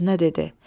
Öz-özünə dedi: